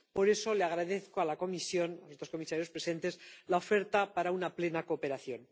Por eso le agradezco a la Comisión —a los comisarios presentes— la oferta para una plena cooperación.